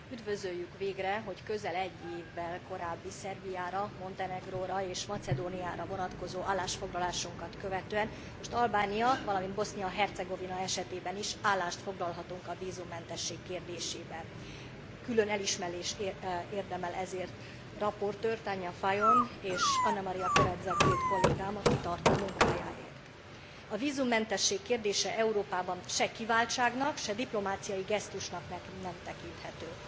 Üdvözöljük végre, hogy közel egy évvel korábbi Szerbiára, Montenegróra és Macedóniára vonatkozó állásfoglalásunkat követően most Albánia, valamint Bosznia Hercegovina esetében is állást foglalhatunk a vízummentesség kérdésében. Külön elismerést érdemel ezért a raportőr, Tanja Fajon és Anna Maria Corazza Bildt kollégám a kitartó munkájáért. A vízummentesség kérdése Európában se kiváltságnak, se diplomáciai gesztusnak nem tekinthető.